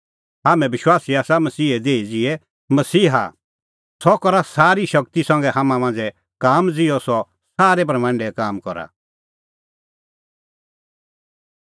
हाम्हैं विश्वासी आसा मसीहे देही ज़िहै मसीहा सह करा सारी शगती संघै हाम्हां मांझ़ै काम ज़िहअ सह सारै भ्रमंडै काम करा